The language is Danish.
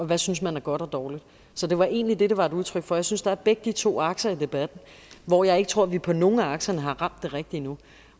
hvad synes man er godt og dårligt så det var egentlig det det var et udtryk for jeg synes der er begge to akser i debatten og jeg tror vi på nogen af akserne har ramt det rigtigt endnu